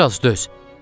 Bir az döz.